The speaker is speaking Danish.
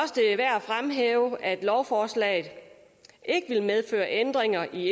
fremhæve at lovforslaget ikke vil medføre ændringer i